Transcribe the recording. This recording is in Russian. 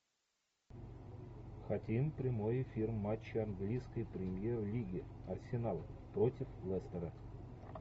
хотим прямой эфир матча английской премьер лиги арсенал против лестера